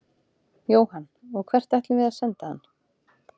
Jóhann: Og hvert ætlum við að senda hann?